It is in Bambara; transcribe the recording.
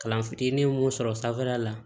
Kalan fitinin ye mun sɔrɔ sanfɛla la